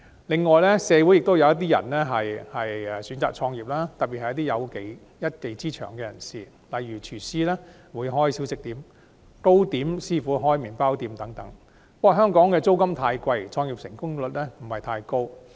此外，社會亦有一些人選擇創業，特別是有一技之長的人士，例如廚師開小食店、糕點師傅開麵包店等，但香港的租金高昂，創業成功率不高。